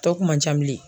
Tɔ kun man ca bilen